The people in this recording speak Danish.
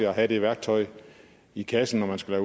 at have det værktøj i kassen når han skulle